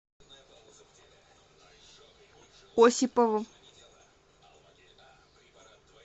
осипову